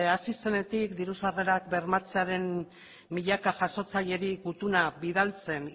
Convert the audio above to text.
hasi zenetik diru sarrerak bermatzearen milaka jasotzaileri gutuna bidaltzen